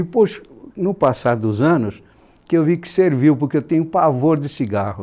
E, poxa, no passar dos anos, que eu vi que serviu, porque eu tenho pavor de cigarro.